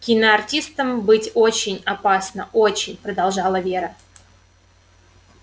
киноартистом быть очень опасно очень продолжала вера